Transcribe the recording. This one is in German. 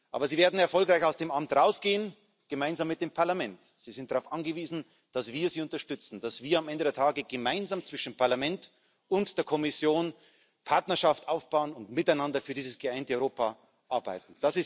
Aber sie werden erfolgreich aus dem Amt hinausgehen, gemeinsam mit dem Parlament. Sie sind darauf angewiesen, dass wir sie unterstützen, dass wir am Ende des Tages gemeinsam zwischen dem Parlament und der Kommission Partnerschaft aufbauen und miteinander für dieses geeinte Europa arbeiten.